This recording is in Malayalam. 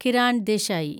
കിരാൻ ദേശായി